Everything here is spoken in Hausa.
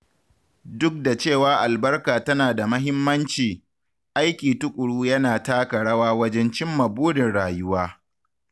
Duk da cewa albarka tana da mahimmanci, aiki tukuru yana taka rawa wajen cimma burin rayuwa.